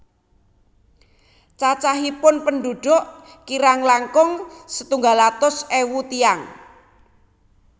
Cacahipun pendhudhuk kirang langkung setunggal atus ewu tiyang